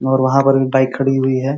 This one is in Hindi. और वहां पर एक बाइक खड़ी हुई है।